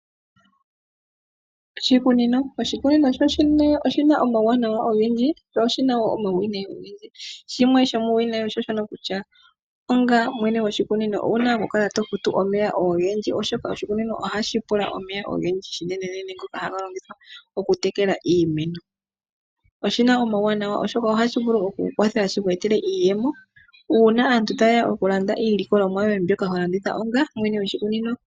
Oshikunino. Oshikunino shoshene oshina omawuwanawa ogendjii sho oshina woo omauwinayi ogendji . Shimwe shomuuwinayi onga mwene gwoshikunini owuna okukala tofutu omeya ogendji oshoka oshikunino ohashi pula omeya ogendji unene ngoka haga longithwa oku tekela iimeno . Oshina omawuwanawa oshoka ohashi vulu oku kukwatha oku ku etela iiyemo uuna aantu tayeya okulanda iilikolomwa yoye mbyoka ho landitha onga mwene gwoshikunino.